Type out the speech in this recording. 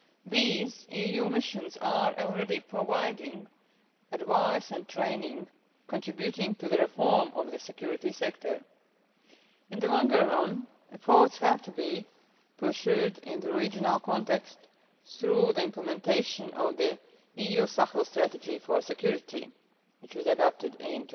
These EU missions are already providing advice and training contributing to the reform of the security sector. In the longer run, efforts have to be pursued in the regional context through the implementation of the EU Sahel Strategy for security which was adopted